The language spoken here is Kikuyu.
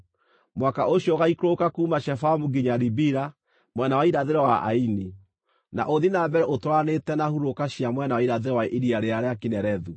Mũhaka ũcio ũgaaikũrũka kuuma Shefamu nginya Ribila, mwena wa irathĩro wa Aini, na ũthiĩ na mbere ũtwaranĩte na hurũrũka cia mwena wa irathĩro wa Iria rĩrĩa rĩa Kinerethu.